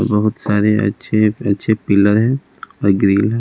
बहुत सारे अच्छे-अच्छे पिलर है और ग्रिल --